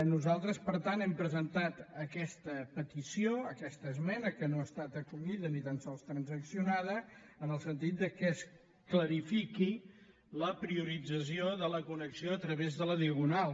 nosaltres per tant hem presentat aquesta petició aquesta esmena que no estat acollida ni tan sols transaccionada en el sentit que es clarifiqui la priorització de la connexió a través de la diagonal